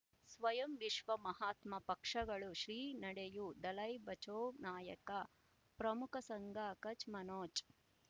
ಸ್ವಯಂ ವಿಶ್ವ ಮಹಾತ್ಮ ಪಕ್ಷಗಳು ಶ್ರೀ ನಡೆಯೂ ದಲೈ ಬಚೌ ನಾಯಕ ಪ್ರಮುಖ ಸಂಘ ಕಚ್ ಮನೋಜ್